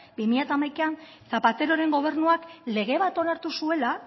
bi mila hamaikan zapateroren gobernuak lege bat onartu zuela